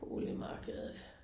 Boligmarkedet